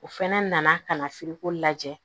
O fɛnɛ nana ka na lajɛ